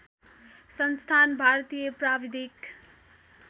संस्थान भारतीय प्राविधिक